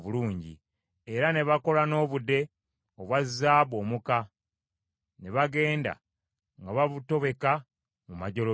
Era ne bakola n’obude obwa zaabu omuka, ne bagenda nga babutobeka mu majjolobera;